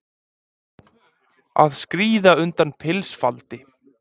Að skríða undan pilsfaldi